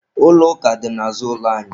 Ụlọ ụka dị n'azụ ụlọ anyị.